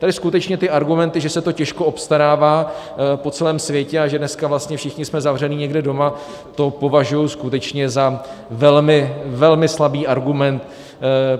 Tady skutečně ty argumenty, že se to těžko obstarává po celém světě a že dneska vlastně všichni jsme zavření někde doma, to považuju skutečně za velmi, velmi slabý argument.